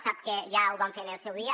sap que ja ho vam fer en el seu dia